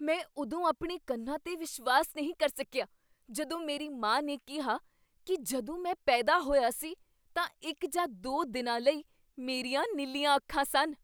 ਮੈਂ ਉਦੋਂ ਆਪਣੇ ਕੰਨਾਂ 'ਤੇ ਵਿਸ਼ਵਾਸ ਨਹੀਂ ਕਰ ਸਕਿਆ ਜਦੋਂ ਮੇਰੀ ਮਾਂ ਨੇ ਕਿਹਾ ਕੀ ਜਦੋਂ ਮੈਂ ਪੈਦਾ ਹੋਇਆ ਸੀ ਤਾਂ ਇੱਕ ਜਾਂ ਦੋ ਦਿਨਾਂ ਲਈ ਮੇਰੀਆਂ ਨੀਲੀਆਂ ਅੱਖਾਂ ਸਨ।